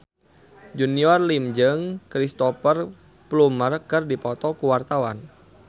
Junior Liem jeung Cristhoper Plumer keur dipoto ku wartawan